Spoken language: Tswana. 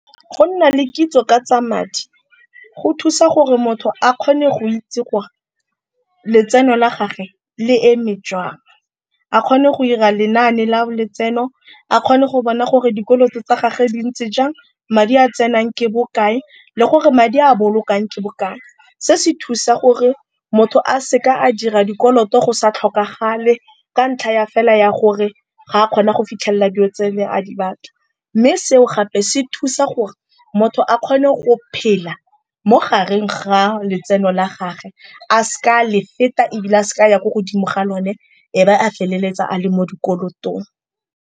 Go nna le kitso ka tsa madi go thusa gore motho a kgone go itse gore letseno la gagwe le eme jwang, a kgone go ira lenane la letseno, a kgone go bona gore dikoloto tsa gage di ntse jang, madi a tsenang ke bokae le gore madi a bolokang ke bokae. Se se thusa gore motho a seka a dira dikoloto go sa tlhokagale ka ntlha ya fela ya gore ga a kgona go fitlhelela dilo tse ne a di batla. Mme seo gape se thusa gore motho a kgone go phela mo gareng ga letseno la gagwe a seka a le feta ebile a seka a ya ko godimo ga lone, e be a feleletsa a le mo dikolotong.